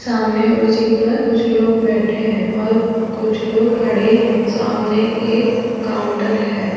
सामने कुर्सियों पर कुछ लोग बैठे हैं और कुछ लोग खड़े हैं सामने एक काउंटर है।